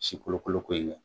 Si kolokoloko in kɛ.